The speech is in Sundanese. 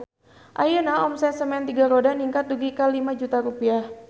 Ayeuna omset Semen Tiga Roda ningkat dugi ka 5 juta rupiah